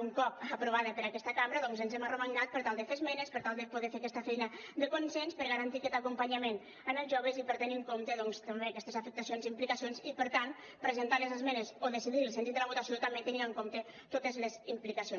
un cop aprovada per aquesta cambra doncs ens hem arromangat per tal de fer esmenes per tal de poder fer aquesta feina de consens per garantir aquest acompanyament en els joves i per tenir en compte també aquestes afectacions i implica cions i per tant presentar les esmenes o decidir el sentit de la votació també tenint en compte totes les implicacions